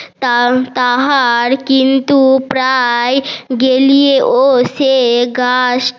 তা তাহার কিন্তু প্রাই